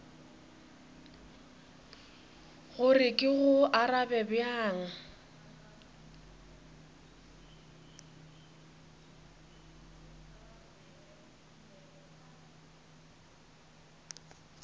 gore ke go arabe bjang